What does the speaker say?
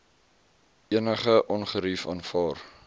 enige ongerief aanvaar